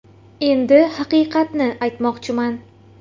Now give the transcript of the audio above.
Endi haqiqatni aytmoqchiman.